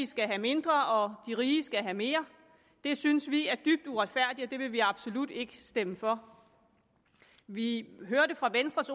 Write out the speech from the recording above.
skal have mindre og de rige skal have mere det synes vi er dybt uretfærdigt og det vil vi absolut ikke stemme for vi hørte fra venstres